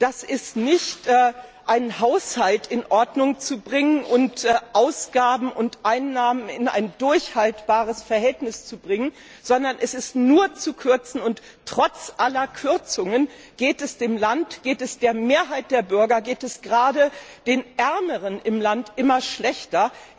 Da wird nicht ein Haushalt in Ordnung gebracht und Ausgaben und Einnahmen in ein durchhaltbares Verhältnis gebracht, sondern es wird nur gekürzt, und trotz aller Kürzungen geht es dem Land, geht es der Mehrheit der Bürger, geht es gerade den Ärmeren im Land immer schlechter.